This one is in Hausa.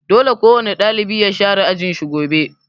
Dole kowane ɗalibi ya share ajin shi gobe'!